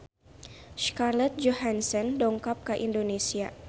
Scarlett Johansson dongkap ka Indonesia